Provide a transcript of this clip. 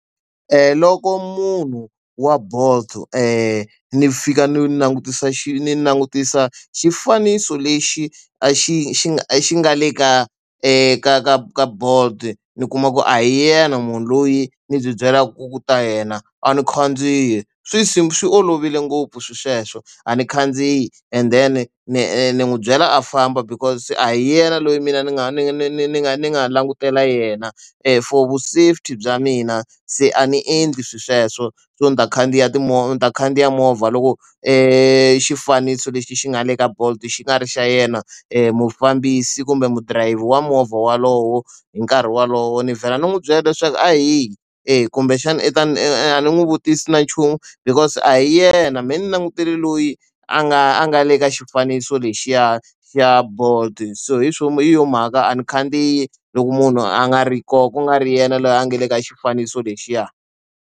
Loko munhu wa bolt ni fika ni langutisa xi ni langutisa xifaniso lexi a xi xi nga a xi nga le ka ka ka ka ka bolt ni kuma ku a hi yena munhu loyi ni byi byelaka ku ta yena a ni khandziyi swi si swi olovile ngopfu swilo sweswo a ni khandziyi and then ni ni n'wi byela a famba because se a hi yena loyi mina ni nga ni ni ni ni nga ni nga langutela yena for vu safety bya mina se a ndzi endli swilo sweswo so ni ta khandziya timovha ta khandziya movha loko e xifaniso lexi xi nga le ka bolt xi nga ri xa yena mufambisi kumbe mudrayivhi wa movha wolowo hi nkarhi wolowo ni vhela ni n'wi byela leswaku a hi eya kumbexana i ta ni a ni n'wi vutisa na nchumu because a hi yena mehe ni langutile loyi a nga a nga le ka xifaniso lexiya xi ya bolt so hi nchumu hi yo mhaka a ndzi khandziyi loko munhu a nga ri kona ku nga ri yena loyi a nga le ka xifaniso lexiya.